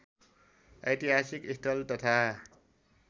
ऐतिहासिक स्थल तथा